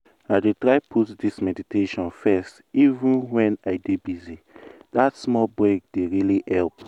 i dey try put this meditation firsteven when i dey busy- that small break dey really help.